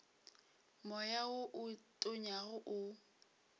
moya wo o tonyago o